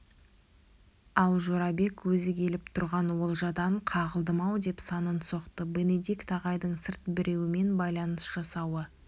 ал жорабек өзі келіп тұрған олжадан қағылдым-ау деп санын соқты бенедикт ағайдың сырт біреумен байланыс жасауы